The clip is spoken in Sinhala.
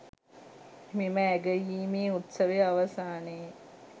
මෙම ඇගයීමේ උත්සවය අවසානයේ